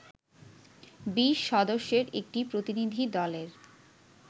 ২০ সদস্যের একটি প্রতিনিধি দলের